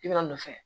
I bɛna a nɔfɛ